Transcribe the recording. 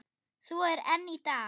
Svo er enn í dag.